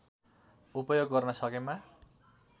उपयोग गर्न सकेमा